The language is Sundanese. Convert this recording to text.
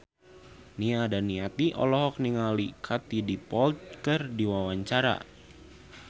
Nia Daniati olohok ningali Katie Dippold keur diwawancara